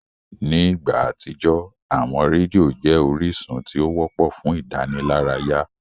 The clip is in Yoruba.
Ní ìgbà àtijọ́, àwọn rédíò jẹ́ orísun tí ó wọ́pọ̀ fún ìdánilárayá.